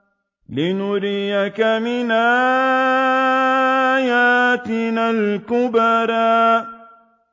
لِنُرِيَكَ مِنْ آيَاتِنَا الْكُبْرَى